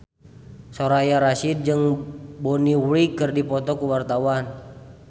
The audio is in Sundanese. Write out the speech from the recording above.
Soraya Rasyid jeung Bonnie Wright keur dipoto ku wartawan